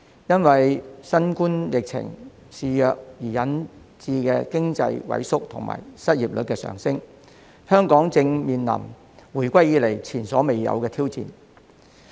因為新冠疫情肆虐，引致經濟萎縮及失業率上升，香港正面臨回歸以來前所未有的挑戰。